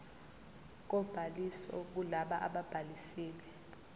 kobhaliso kulabo ababhalisile